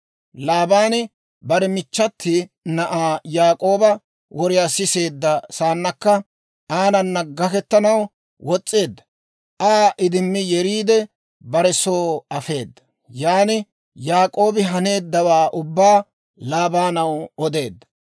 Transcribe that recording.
Laabaani bare michchati na'aa Yaak'ooba woriyaa siseedda saannakka, aanana gaketanaw wos's'eedda. Aa idimmi yeriide, bare soo afeedda. Yan Yaak'oobi haneeddawaa ubbaa Laabaanaw odeedda.